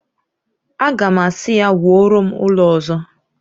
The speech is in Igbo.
Aga m asị ya, wuoro m ụlọ ọzọ!